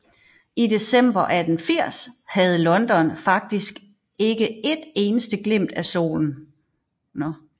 I december 1890 havde London faktisk ikke et eneste glimt af solen